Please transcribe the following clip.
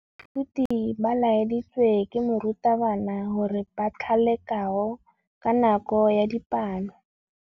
Baithuti ba laeditswe ke morutabana gore ba thale kagô ka nako ya dipalô.